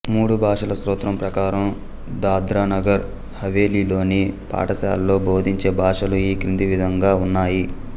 మూడు భాషల సూత్రం ప్రకారం దాద్రా నగర్ హవేలీలోని పాఠశాలల్లో బోధించే భాషలు ఈ క్రింది విధంగా ఉన్నాయి